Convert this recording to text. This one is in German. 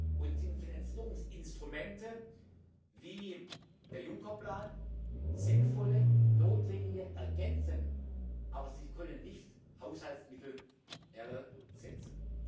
Und die Finanzierungsinstrumente wie der Juncker Plan sind sinnvolle und notwendige Ergänzungen, aber sie können nicht Haushaltsmittel ersetzen.